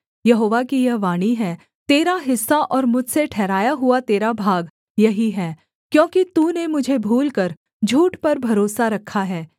यहोवा की यह वाणी है तेरा हिस्सा और मुझसे ठहराया हुआ तेरा भाग यही है क्योंकि तूने मुझे भूलकर झूठ पर भरोसा रखा है